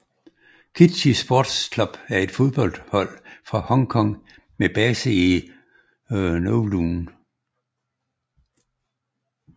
Kitchee Sports Club er et fodboldhold fra Hong Kong med base i Kowloon